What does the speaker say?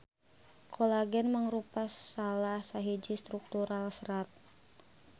Kolagen mangrupa salah sahiji struktural serat.